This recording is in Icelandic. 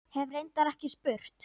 Hef reyndar ekki spurt.